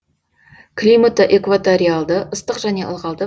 климаты экваториалды ыстық және ылғалды